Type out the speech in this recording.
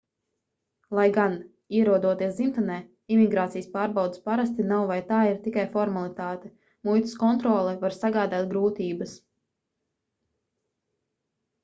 lai gan ierodoties dzimtenē imigrācijas pārbaudes parasti nav vai tā ir tikai formalitāte muitas kontrole var sagādāt grūtības